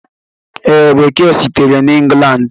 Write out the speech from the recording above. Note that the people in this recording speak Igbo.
Ee, Bekee sitere na England.